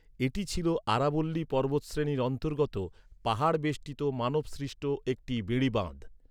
এটি ছিল আরাবল্লী পর্বতশ্রেণীর অন্তর্গত, পাহাড় বেষ্টিত মানব সৃষ্ট একটি বেড়িবাঁধ।